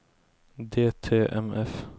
DTMF